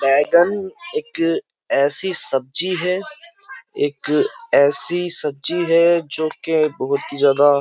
बैंगन एक ऐसी सब्जी है एक ऐसी सब्जी है जोकि बहुत ही ज्यादा --